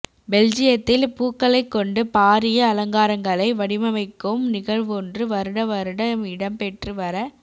பெல்ஜியத்தில் பூக்களைக் கொண்டு பாரிய அலங்காரங்களை வடிவமைக்கும் நிகழ்வொன்று வருடாவருடம் இடம்பெற்று வர